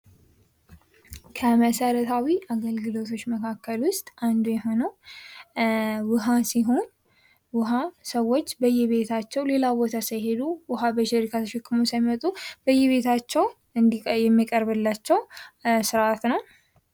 ከመሰረታዊ አገልግሎቶች መካከል ውስጥ አንዱ የሆነው ውሃ ሲሆን ውሃ ሰዎች በየቤታቸው ሌላ ቦታ ሳይሄዱ ውሃ በጀሪካን ተሸክመው ሳይመጡ በቤታቸው የሚቀርብላቸው ስርአት ነው።